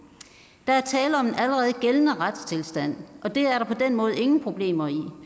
der er tale om en allerede gældende retstilstand og det er der på den måde ingen problemer i når